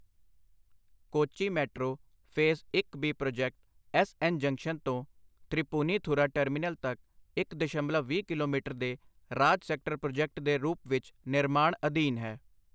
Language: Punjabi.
ਕੋਚੀ ਮੈਟਰੋ ਫੇਜ਼ ਇਕ B project S N junction ਤੋਂ ਥ੍ਰੀਪੁਨੀਥੁਰਾ ਟਰਮੀਨਲ ਤੱਕ ਇਕ ਦਸ਼ਮਲਵ ਵੀਹ ਕਿਲੋਮੀਟਰ ਦੇ ਰਾਜ ਸੈਕਟਰ ਪ੍ਰੋਜੈਕਟ ਦੇ ਰੂਪ ਵਿੱਚ ਨਿਰਮਾਣ ਅਧੀਨ ਹੈ।